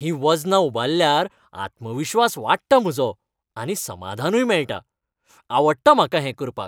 हीं वजनां उबारल्यार आत्मविश्वास वाडटा म्हजो आनी समाधानूय मेळटा. आवडटा म्हाका हें करपाक.